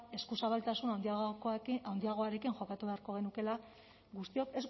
eskuzabaltasun handiagoarekin jokatu beharko genukeela guztiok